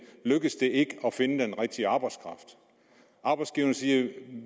lykkes det ikke at finde den rigtige arbejdskraft arbejdsgiverne siger